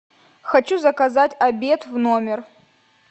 хочу заказать обед в номер